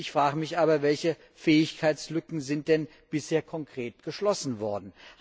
Ich frage mich aber, welche Fähigkeitslücken sind denn bisher konkret geschlossen worden?